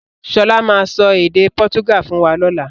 Sọlá máa sọ èdè pọ́túgà fún wa lọ́la.